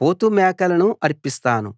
పోతుమేకలను అర్పిస్తాను